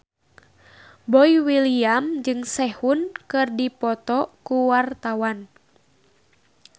Boy William jeung Sehun keur dipoto ku wartawan